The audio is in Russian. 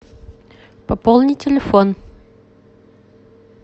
пополни телефон